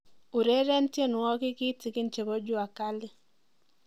ureryen tienwoyik kitigin chebo jua cali